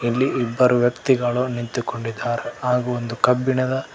ಇಲ್ಲಿ ಇಬ್ಬರು ವ್ಯಕ್ತಿಗಳು ನಿಂತುಕೊಂಡಿದ್ದಾರೆ ಹಾಗೂ ಒಂದು ಕಬ್ಬಿಣದ.